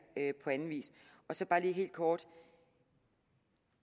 på anden vis så bare lige helt kort